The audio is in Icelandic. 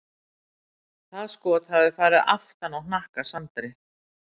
Það skot hafi farið aftan á hnakka Sandri.